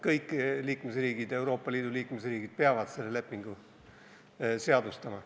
Kõik Euroopa Liidu liikmesriigid peavad selle lepingu seadustama.